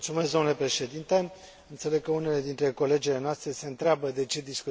Înțeleg că unele dintre colegele noastre se întreabă de ce discutăm despre Tunisia.